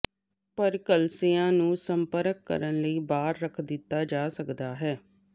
ਪਰ ਕਲੀਸਿਯਾ ਨੂੰ ਸੰਪਰਕ ਕਰਨ ਲਈ ਬਾਹਰ ਰੱਖ ਦਿੱਤਾ ਜਾ ਸਕਦਾ ਹੈ